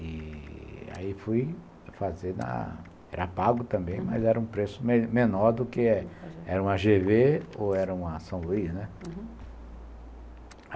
E... aí fui fazer na... Era pago também, uhum, mas era um preço menor do que... Era uma gê vê ou era uma São Luís, né?